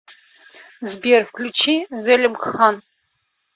сбер включи зелимхан